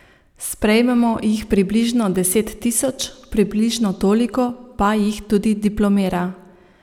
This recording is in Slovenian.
Sprejmemo jih približno deset tisoč, približno toliko pa jih tudi diplomira.